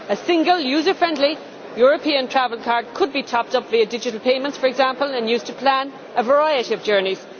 A single user friendly European travel card could be topped up via digital payments, for example, and used to plan a variety of journeys.